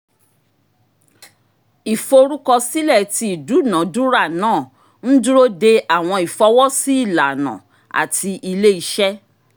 iforukọsilẹ ti idunadura naa n duro de awọn ifọwọsi ilana ati ile-iṣẹ.